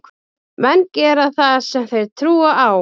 Menn gera það sem þeir trúa á.